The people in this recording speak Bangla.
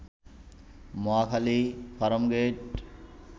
মহাখালী, ফার্মগেইট